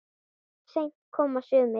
Seint koma sumir.